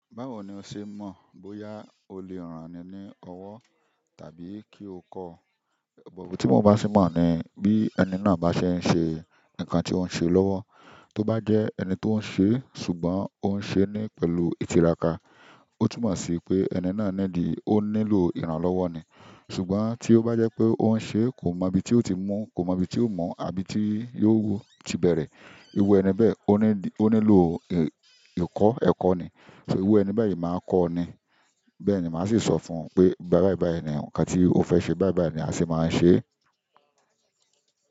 Báwo ni o ṣe mọ̀ bóyá o lè ràn ni ní ọwọ́ tàbí kí o kọ́? Ti mo ba se n mọ ni, bi ẹni náà ba se n se nǹkan ti o n se lọwọ, to ba jẹ ẹni to n se, ṣùgbọ́n oun se ni pẹ̀lú itiraka otumọ si ẹni náà o nílò ìrànlọ́wọ́ ni ṣùgbọ́n tí ó bá jẹ́ pé ó ń ṣe kò mọ ibi tí ó ti mú, kò mọ ibi tí ó mọ̀ àbí tí yóò ti bẹ̀rẹ̀, iru ẹni bẹ́ẹ̀ ó ní dì ó nílò ìkọ́ ẹ̀kọ́ ni. So iru ẹni bẹ́ẹ̀ yìí máa ń kọ́ ọ ni. Bẹ́ẹ̀ ni màá sì sọ fún un pé báìbàí báì ni nǹkan tí ó fẹ́ ṣe báìbàí ni a sì máa ń ṣe.